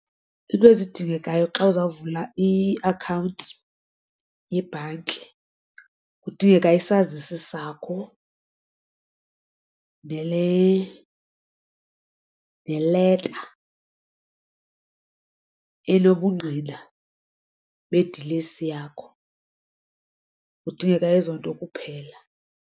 Iinto ezidingekayo xa uzawuvula iakhawunti yebhanki kudingeka isazisi sakho neleta enobungqina bedilesi yakho kudingeka ezo nto kuphela.